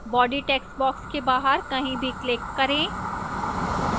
body textbox के बाहर कहीं भी click करें